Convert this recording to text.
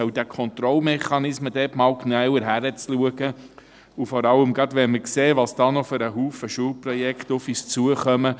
Bei diesen Kontrollmechanismen sollte man einmal genauer hinsehen, vor allem wenn wir sehen, welche Menge an Schulprojekten noch auf uns zukommt.